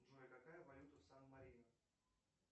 джой какая валюта в сан марино